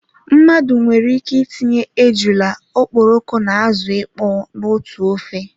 Mmadụ nwere ike itinye ejula, okporoko na azụ ịkpọ na otú ofe